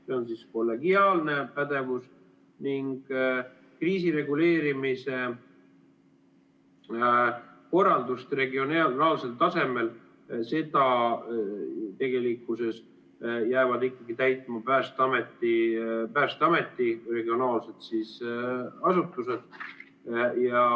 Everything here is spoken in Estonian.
See on kollegiaalne pädevus ning kriisireguleerimise korraldust regionaalsel tasemel jäävad ikkagi täitma Päästeameti regionaalsed asutused.